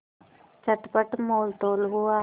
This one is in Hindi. चटपट मोलतोल हुआ